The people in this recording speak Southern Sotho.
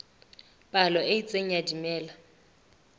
palo e itseng ya dimela